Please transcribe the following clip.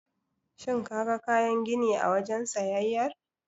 Shin kaga kayan gini a wajen siyayyar?